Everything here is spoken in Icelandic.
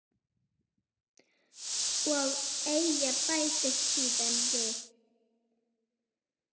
Og Eyja bætir síðan við